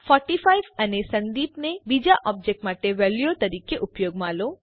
૪૫ અને સંદીપ ને બીજા ઓબજેક્ટ માટે વેલ્યુઓ તરીકે ઉપયોગમાં લો